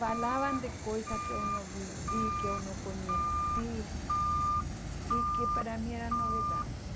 falavam de coisas que eu não vivi, que eu não conheci, e que para mim eram novidades.